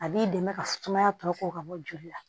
A b'i dɛmɛ ka sumaya tɔ ka bɔ joli la